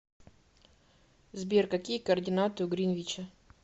сбер какие координаты у гринвича